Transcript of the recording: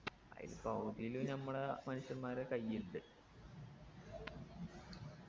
അയില് പകുതിയിലും നമ്മളെ മനുഷ്യമ്മാരെ കയ്യിണ്ട്